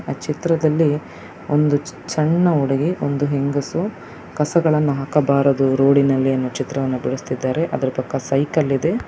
ಆ ಚಿತ್ರದಲ್ಲಿ ಒಂದು ಸಣ್ಣ ಹುಡುಗಿ ಒಂದು ಹೆಂಗಸು ಕಸಗಳನ್ನು ಹಾಕಬಾರದು ರೋಡಿ ನಲ್ಲಿ ಎನ್ನುವ ಚಿತ್ರವನ್ನು ಬಿಡಿಸುತ್ತಿದ್ದಾರೆ ಅದರ ಪಕ್ಕ ಸೈಕಲ್ ಇದೆ .